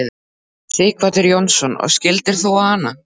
Sighvatur Jónsson: Og skildir þú hana?